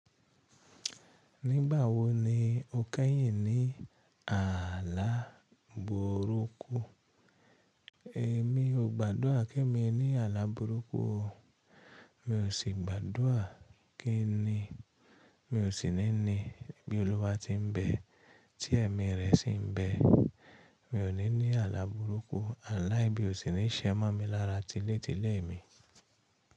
Nígbà wo ni o keyìn ní ààlà burúkú? Èmi ò gbádùra kí èmi ní ààlà burúkú o. Mi ò sí gbádùra kín ni, mi ò sì ní ní bí Olúwa ti ń bẹ, tí ẹ̀mí rẹ̀ sì ń bẹ. Mi ò ní ní ààlà burúkú, àlá ibí o ṣi ńi ṣe mo mi lára tílé tílé mi.